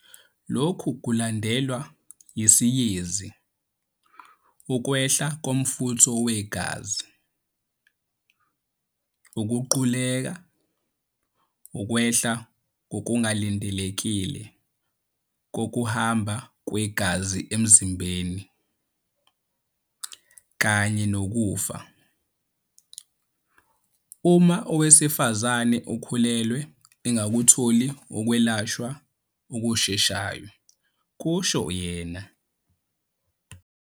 "Lokhu kulandelwa yisiyezi, ukwehla komfutho wegazi, ukuquleka, ukwehla okungalindelekile kokuhamba kwegazi emzimbeni kanye nokufa, uma owesifazane okhulelwe engakutholi ukwelashwa okusheshayo," kusho yena.